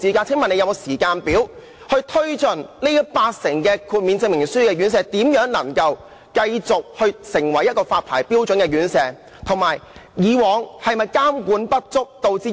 請問局方有否時間表，協助現時八成靠豁免證明書經營的院舍達到發牌標準，並以正式牌照繼續經營？